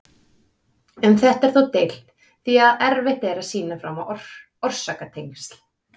Um þetta er þó deilt því að erfitt er að sýna fram á orsakatengsl.